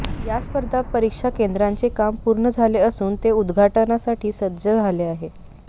या स्पर्धा परीक्षा केंदाचे काम पूर्ण झाले असून ते उद्घाटनासाठी सज्ज झाले आहे